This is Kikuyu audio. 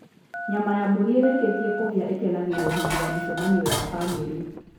Nyama ya mbũri ĩrĩkĩtie kũhĩa ĩkenagĩrũo hĩndĩ ya mĩcemanio ya famĩlĩ.